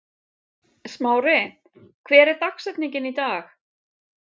Smári, hver er dagsetningin í dag?